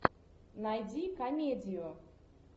найди комедию